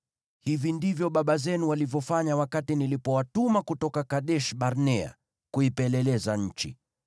Hivi ndivyo baba zenu walivyofanya wakati nilipowatuma kutoka Kadesh-Barnea kuipeleleza nchi.